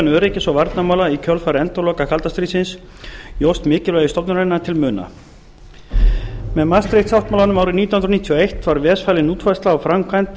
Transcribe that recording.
öryggis og varnarmála í kjölfar endaloka kalda stríðsins jókst mikilvægi stofnunarinnar til muna með maastricht sáttmálanum árið nítján hundruð níutíu og eitt var ves falin útfærsla á framkvæmd varnarmála og